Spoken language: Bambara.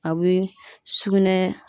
A bɛ sugunɛ